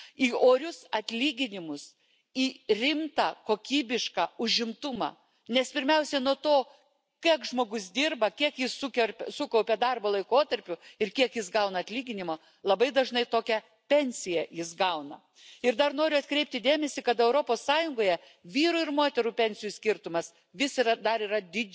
die umlagefinanzierte gesetzliche Alterssicherung die wichtigste, die zentrale Säule bleiben muss, die dann in den Mitgliedstaaten unterschiedlich stark aus den nationalen Etats und damit steuerfinanziert eine Ergänzung erfährt. Wir glauben, dass auch die betriebliche Alterssicherung entlang unterschiedlicher Kulturen in den Mitgliedstaaten eine zweite sinnvolle, wenn auch schmalere Säule ist. Und wir glauben,